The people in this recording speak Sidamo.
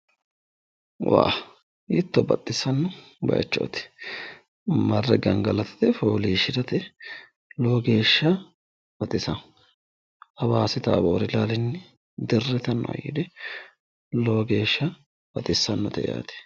hiitto baxissanno bayiichooti marre gangalatate fooliishshirate lowo geeshsha baxisanno hawaasi taaboori ilaalinni dirritannoeeli lowo geeshsha baxissanno yaate.